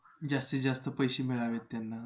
जास्तीजास्त पैसे मिळावेत त्यांना